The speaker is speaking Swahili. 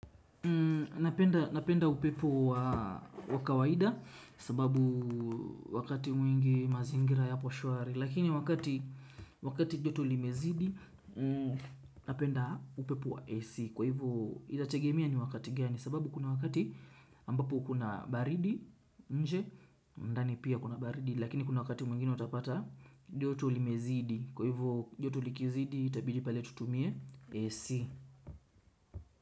Napenda upepo wa kawaida, sababu wakati mwingi mazingira yaposhwari. Lakini wakati joto limezidi. Napenda upepo wa AC. Kwa hivyo, inategemea ni wakati gani, sababu kuna wakati ambapo kuna baridi. Nje, ndani pia kuna baridi. Lakini kuna wakati mwingine utapata joto limezidi. Kwa hivyo joto likizidi itabidi pale tutumie AC.